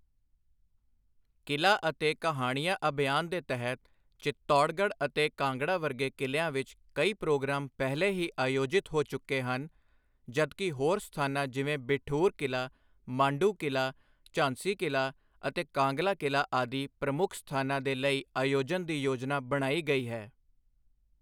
ਕਿਲਾ ਅਤੇ ਕਹਾਣੀਆਂ ਅਭਿਯਾਨ ਦੇ ਤਹਿਤ, ਚਿਤੌੜਗੜ੍ਹ ਅਤੇ ਕਾਂਗੜਾ ਵਰਗੇ ਕਿਲਿਆਂ ਵਿੱਚ ਕਈ ਪ੍ਰੋਗਰਾਮ ਪਹਿਲੇ ਹੀ ਆਯੋਜਿਤ ਹੋ ਚੁੱਕੇ ਹਨ, ਜਦਕਿ ਹੋਰ ਸਥਾਨਾਂ ਜਿਵੇਂ ਬਿਠੂਰ ਕਿਲਾ, ਮਾਂਡੂ ਕਿਲਾ, ਝਾਂਸੀ ਕਿਲਾ ਅਤੇ ਕਾਂਗਲਾ ਕਿਲਾ ਆਦਿ ਪ੍ਰਮੁੱਖ ਸਥਾਨਾਂ ਦੇ ਲਈ ਆਯੋਜਨ ਦੀ ਯੋਜਨਾ ਬਣਾਈ ਗਈ ਹੈ।